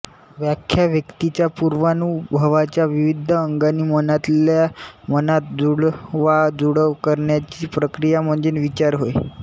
व्याख्या व्यक्तीच्या पुर्वानुभवाच्या विविध अंगानी मनातल्या मनात जुळवाजुळव करण्याची प्रक्रिया म्हणजे विचार होय